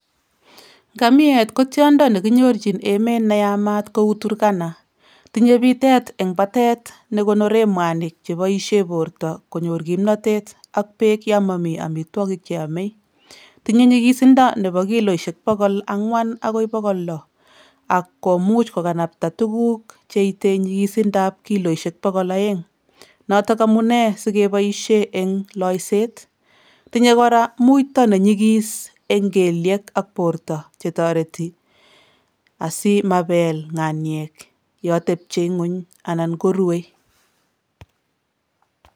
Otindenik ak kerutik ochon chepkirikas agobo koroi?